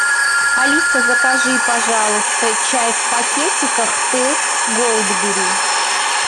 алиса закажи пожалуйста чай в пакетиках тесс голдберри